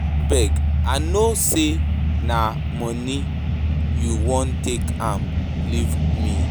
Abeg, I no say na na money you want, take am leave me.